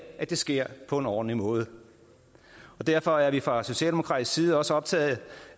at det sker på en ordentlig måde derfor er vi fra socialdemokratisk side også optagede